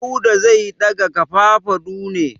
Dauda zai daga kafafadu ne.